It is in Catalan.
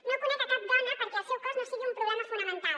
no conec a cap dona per a qui el seu cos no sigui un problema fonamental